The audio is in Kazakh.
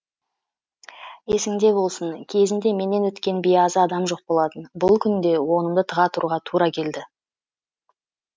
есіңде болсын кезінде менен өткен биязы адам жоқ болатын бұл күнде онымды тыға тұруға тура келді